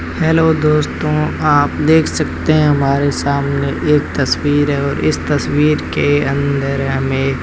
hello दोस्तों आप देख सकते हैं हमारे सामने एक तस्वीर है और इस तस्वीर के अंदर हमें--